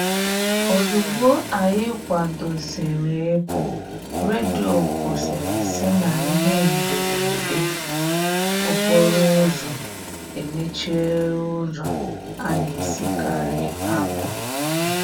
Ozugbo anyị kwadosiri ị pụ, redio kwuru sị na ihe mberede okporo ụzọ emechiela ụzọ a na-esikari apụ.